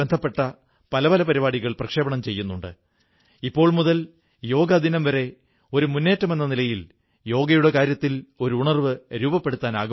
നിരന്തരം നമ്മുടെ മനസ്സിൽ സന്ദേഹത്തിന്റെ വിത്തുകൾ വിതയ്ക്കാൻ ശ്രമങ്ങൾ നടത്തിക്കൊണ്ടിരിക്കുന്ന രാജ്യത്തെ വിഭജിക്കാൻ ശ്രമിച്ചുകൊണ്ടിരിക്കുന്ന ശക്തികളും ഇവിടെ ഉണ്ടായിരുന്നിട്ടുണ്ട്